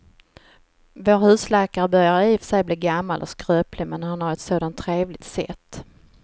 Vår husläkare börjar i och för sig bli gammal och skröplig, men han har ju ett sådant trevligt sätt!